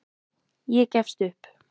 Ég gefst upp.